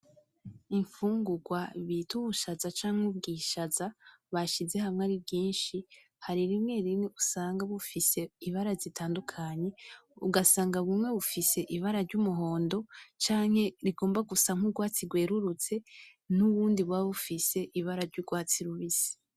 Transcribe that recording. Imfungugwa bit'ubushaza canke ubwishaza bashize hamwe ari bwinshi, hari rimwe rimwe usanga bufise ibara zitandukanye, ugasanga bumwe bufise ibara ry'umuhundo canke rigomba gusa n'ugwatsi gwerurutse n'ubundi buba bufise ibara ry'ugwatsi rubisi.